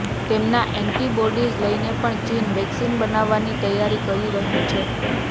તેમના એન્ટિબોડિઝ લઈને પણ ચીન વેક્સીન બનાવવાની તૈયારી કરી રહ્યું છે